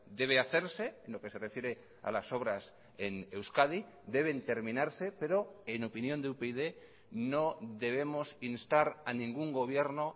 debe hacerse lo que se refiere a las obras en euskadi deben terminarse pero en opinión de upyd no debemos instar a ningún gobierno